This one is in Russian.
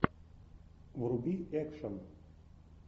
вруби экшн